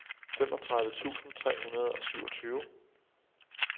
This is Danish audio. femogtredive tusind tre hundrede og syvogtyve